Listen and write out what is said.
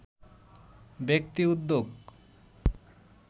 ব্যক্তি উদ্যোগ